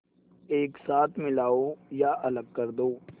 एक साथ मिलाओ या अलग कर दो